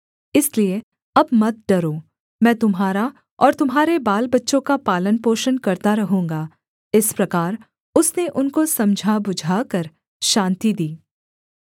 इसलिए अब मत डरो मैं तुम्हारा और तुम्हारे बालबच्चों का पालनपोषण करता रहूँगा इस प्रकार उसने उनको समझाबुझाकर शान्ति दी